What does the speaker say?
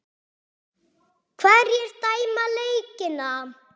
Hverjir dæma leikina?